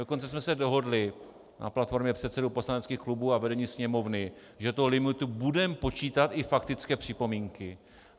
Dokonce jsme se dohodli na platformě předsedů poslaneckých klubů a vedení Sněmovny, že do limitu budeme počítat i faktické připomínky.